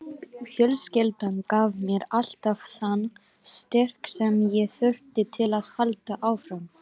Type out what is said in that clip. Fjölskyldan gaf mér alltaf þann styrk sem ég þurfti til að halda áfram.